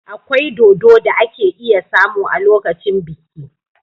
Akwai dodo da ake iya samu a lokacin biki.